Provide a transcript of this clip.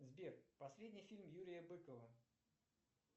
сбер последний фильм юрия быкова